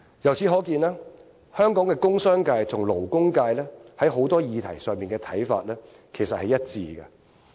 由此可見，香港的工商界和勞工界在許多議題的看法，其實是一致的。